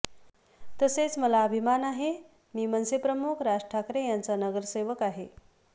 तसेच मला अभिमान आहे मी मनसेप्रमुख राज ठाकरे यांचा नगरसेवक आहे